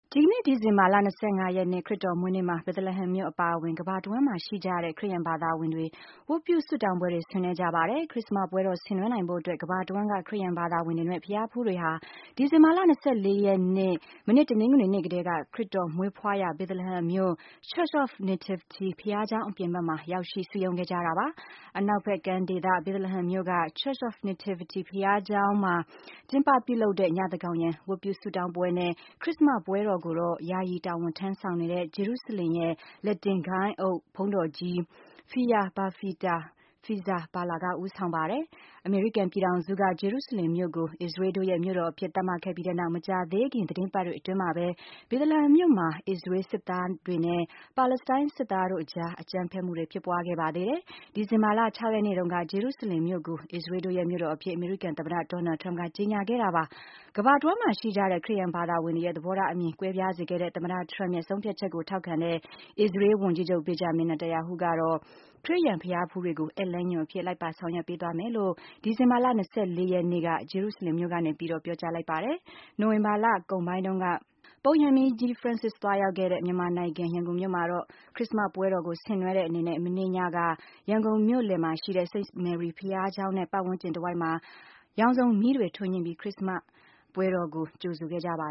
ဒီကနေ့ ဒီဇင်ဘာလ ၂၅ ရက်နေ့ ခရစ္စတော်မွေးနေ့မှာ Bethlehem မြို့အပါအဝင် ကမ္ဘာတဝှမ်းမှာရှိကြတဲ့ ခရစ်ယာန်ဘာသာတွေ ဝတ်ပြုဆုတောင်းပွဲတွေ ဆင်နွှဲကြပါတယ်။ ခရစ္စမတ်ပွဲတော် ဆင်နွှဲနိုင်ဖို့အတွက် ကမ္ဘာတဝှမ်းက ခရစယာန်ဘာသာဝင်နဲ့ ဘုရားဖူးတွေဟာ ဒီဇင်ဘာလ ၂၄ ရက် မနေ့ တနင်္ဂနွေနေ့ ကတည်းက ခရစ်တော်မွေးဖွားရာ Bethlehem မြို့ Church of Nativity ဘုရားကျောင်း အပြင်ဘက်မှာ ရောက်ရှိ စုရုံးနေခဲ့ကြတာပါ။ အနောက်ဘက်ကမ်းဒေသ Bethlehem မြို့က Church of Nativity ဘုရားကျောင်းမှာ ကျင်းပပြုလုပ်တဲ့ သန်းခေါင်ယံ ဝတ်ပြုဆုတောင်းပွဲနဲ့ ခရစ္စမတ်ပွဲတော်ကိုတော့ ယာယီတာဝန်ထမ်းဆောင်နေတဲ့ ဂျေရုစလင်ရဲ့ လက်တင် ဂိုဏ်းအုပ် ဘုန်းတော်ကြီး Pierbattista Pizzaballa က ဦးဆောင်ပါတယ်။ အမေရိကန်ပြည်ထောင်စုက ဂျေရုစလင်မြို့ကို အစ္စရေးတို့ရဲ့ မြို့တော်အဖြစ်သတ်မှတ်ခဲ့ပြီးနောက် မကြာသေးခင် သီတင်းပတ်တွေအတွင်းမှာပဲ Bethlehem မြို့မှာ အစ္စရေးစစ်သားနဲ့ ပါလစ္စတိုင်း စစ်သားတို့ အကြား အကြမ်းဖက်မှုတွေ ဖြစ်ပွားခဲ့ပါသေးတယ်။ဒီဇင်ဘာလ ၆ ရက်နေ့တုန်းက ဂျေရုစလင်မြို့ကို အစ္စရေးတို့ရဲ့ မြို့တော်အဖြစ် အမေရိကန် သမ္မတ Doanld Trump က ကြေညာခဲ့တာပါ။ ကမ္ဘာတဝှမ်းမှာရှိကြတဲ့ ခရစ်ယာန်ဘာသာတွေရဲ့ သဘောထားအမြင် ကွဲပြားစေခဲ့တဲ့ သမ္မတ Trump ရဲ့ ဆုံးဖြတ်ချက်ကို ထောက်ခံတဲ့ အစ္စရေး ဝန်ကြီးချုပ် Benjamin Netanyahu ကတော့ ခရစ်ယာန် ဘုရားဖူးတွေကို ဧည့်လမ်းညွှန်အဖြစ် လိုက်ပါဆောင်ရွက်ပေးသွားမယ်လို့ ဒီဇင်ဘာလ ၂၄ ရက်နေ့က ဂျေရုစလင်မြို့ကနေပြီးတော့ ပြောကြားလိုက်ပါတယ်။ နိုဝင်ဘာလ ကုန်ပိုင်းတုန်းက ပုပ်ရဟန်းမင်းကြီး ဖရန့်စစ် သွားရောက်ခဲ့တဲ့ မြန်မာနိုင်ငံ ရန်ကုန်မြို့မှာတော့ ခရစ္စမတ်ပွဲတော်ကို ဆင်နွှဲတဲ့အနေနဲ့ မနေ့ညက ရန်ကုန်မြို့လယ်မှာရှိတဲ့ St. Mary ဘုရားကျောင်းနဲ့ ပတ်ဝန်းကျင်တဝိုက်မှာ ရောင်စုံမီးတွေထွန်းညှိပြီး ခရစ်တော်မွေးနေ့ကို ကြိုဆိုခဲ့ကြပါ